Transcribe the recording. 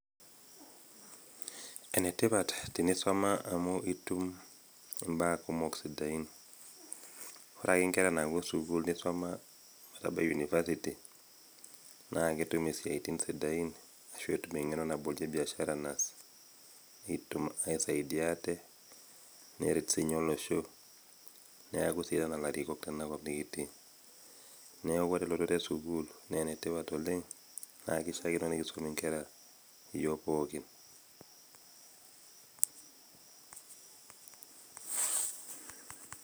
Ene tipat tenisuma amu itum imbaa kumok sidain. ore ake nkerra napuo sukuul neisuma netabitie university naa ketum isiatin sidain ,netum engeno nabolie biashara naas pee etum aisaidia aate neret sininye olosho